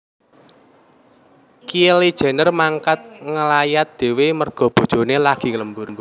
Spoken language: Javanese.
Kylie Jenner mangkat ngelayat dewe merga bojone lagi lembur